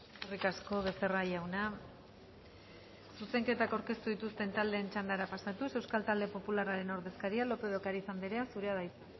eskerrik asko becerra jauna zuzenketak aurkeztu dituzten taldeen txandara pasatuz euskal talde popularraren ordezkaria lopez de ocariz andrea zurea da hitza